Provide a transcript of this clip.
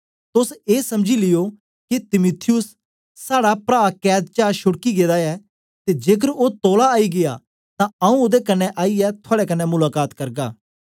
तोस ए समझी लियो के तीमुथियुस साड़ा प्रा कैद चा छोड्की गेदा ऐ ते जेकर ओ तौला आई गीया तां आऊँ ओदे कन्ने आईयै थुआड़े कन्ने मुलाका त करगा